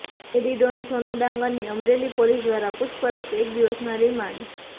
lady don Sonu ડાંગરની Amreli police દ્વારા પુછપરછઃ એક દિવસના રિમાન્ડ